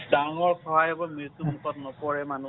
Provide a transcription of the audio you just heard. ডাঙৰ সহায় হব । মৃত্যু মুখত নপৰে মানুহ ।